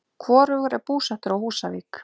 Hvorugur er búsettur á Húsavík.